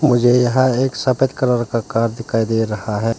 मुझे यहां एक सफेद कलर का कार दिखाई दे रहा है।